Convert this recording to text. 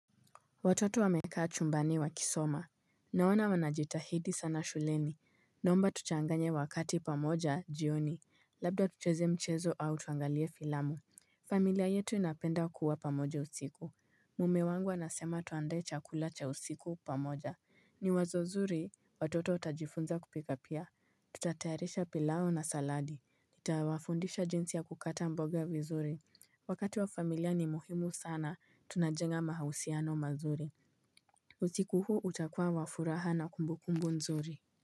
Watoto wamekaa chumbani wakisoma. Naona wanajitahidi sana shuleni. Naomba tuchanganye wakati pamoja jioni. Labda tucheze mchezo au tuangalie filamu. Familia yetu inapenda kuwa pamoja usiku. Mume wangu anasema tuandae chakula cha usiku pamoja. Ni wazo zuri, watoto watajifunza kupika pia. Tutatayarisha pilau na saladi. Nitawafundisha jinsi ya kukata mboga vizuri. Wakati wa familia ni muhimu sana tunajenga mahausiano mazuri Usikuunhuu utakuwa wa furaha na kumbukumbu nzuri.